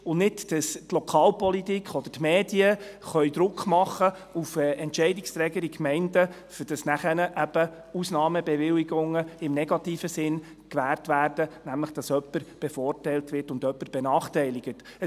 So können die Lokalpolitik und die Medien nicht Druck auf Entscheidungsträger in den Gemeinden ausüben, damit Ausnahmebewilligungen im negativen Sinne gewährt werden, indem jemand bevorzugt und jemand benachteiligt wird.